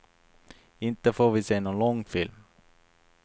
Inte får vi se nån långfilm.